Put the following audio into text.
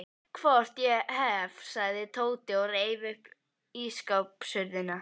Hvort ég hef, sagði Tóti og reif upp ísskápshurðina.